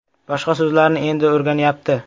Boshqa so‘zlarni endi o‘rganyapti.